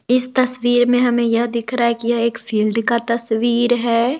इस तस्वीर में हमें यह दिख रहा है कि यह एक फील्ड का तस्वीर है।